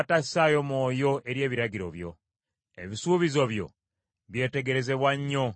Ebisuubizo byo byetegerezebwa nnyo, kyenva mbyagala.